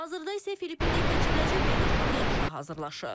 Hazırda isə Filippində keçiriləcək beynəlxalq yarışa hazırlaşır.